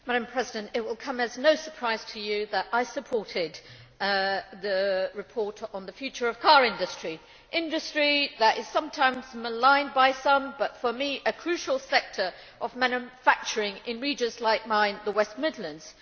Madam President, it will come as no surprise to you that I supported the report on the future of the car industry, an industry that is sometimes maligned by some but, for me, a crucial sector of manufacturing in regions like mine, the West Midlands.